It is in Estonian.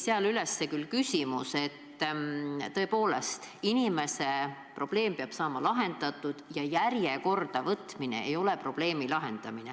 Seal märgiti, et tõepoolest, inimeste probleem peab saama lahendatud, aga järjekorda võtmine ei ole probleemi lahendamine.